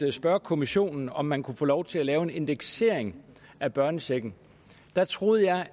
at spørge kommissionen om man kunne få lov til at lave en indeksering af børnechecken troede jeg